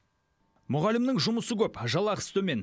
мұғалімнің жұмысы көп жалақысы төмен